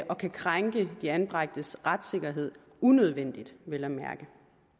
og kan krænke de anbragtes retssikkerhed unødvendigt vel at mærke